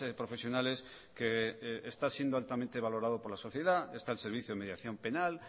profesionales que está siendo altamente valorado por la sociedad está el servicio de mediación penal